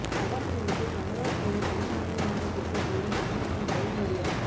அஸ்ஸாமில் இருந்து கமதாபூரை தனி மாநிலமாக பிரிக்க கோரி மாணவர்கள் ரயில் மறியல்